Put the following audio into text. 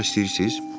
Baxmaq istəyirsiz?